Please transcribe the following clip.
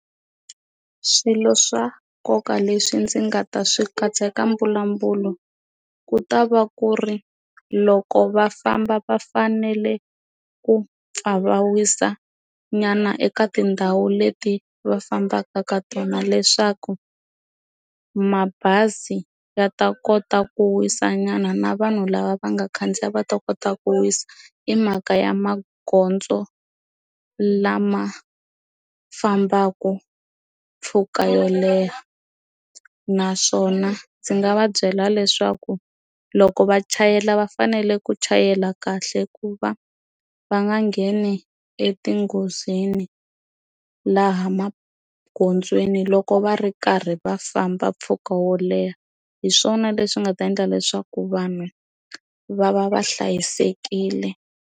Swilo swa nkoka leswi ndzi nga ta swi katsa eka mbulavulo ku ta va ku ri loko va famba va fanele ku pfa va wisa nyana eka tindhawu leti va fambaka ka tona leswaku mabazi ya ta kota ku wisa nyana na vanhu lava va nga khandziya va ta kota ku wisa i mhaka ya magondzo lama fambaka mpfhuka yo leha naswona ndzi nga va byela leswaku loko va chayela va fanele ku chayela kahle ku va va nga ngheni e ti nghozini laha magondzweni loko va ri karhi va famba mpfhuka wo leha hi swona leswi nga ta endla leswaku vanhu va va va hlayisekile.